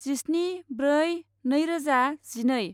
जिस्नि ब्रै नैरोजा जिनै